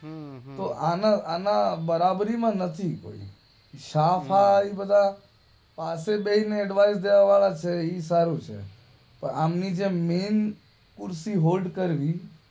હમ્મ તો આને આના બરાબરી નથી કોઈ શાહ ફાહ એ બધા પાસે બેહી ને ઍડ્વાઇસ દેવા વાળા છે એ સારું છે તો આમની જે મૈન કુર્સી હોલ્ડ કરવી